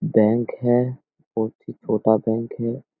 Bank है बहुत ही छोटा बैंक है।